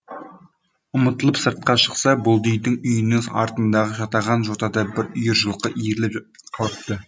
ұмтылып сыртқа шықса бұлдидың үйінің артындағы жатаған жотада бір үйір жылқы иіріліп қалыпты